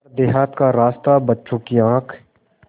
पर देहात का रास्ता बच्चों की आँख